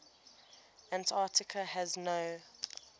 antarctica has no